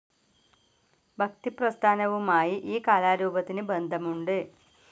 ഭക്തിപ്രസ്ഥാനവുമായി ഈ കലാരൂപത്തിന് ബന്ധമുണ്ട്.